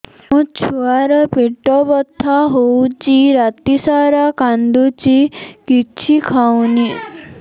ମୋ ଛୁଆ ର ପେଟ ବଥା ହଉଚି ରାତିସାରା କାନ୍ଦୁଚି କିଛି ଖାଉନି